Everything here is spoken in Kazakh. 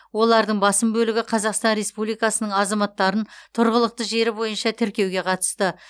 олардың басым бөлігі қазақстан республикасының азаматтарын тұрғылықты жері бойынша тіркеуге қатысты